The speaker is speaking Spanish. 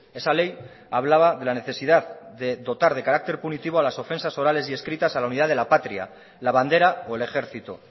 esa ley hablaba de la necesidad de dotar de carácter punitivo a las ofensas orales y escritas a la unidad de la patria la bandera o el ejercito